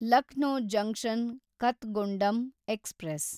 Lucknow junction Kathgodam express